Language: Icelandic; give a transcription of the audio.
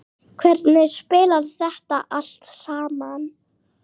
Hvernig spilar þetta allt saman?